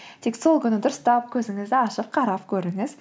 тек сол күні дұрыстап көзіңізді ашып қарап көріңіз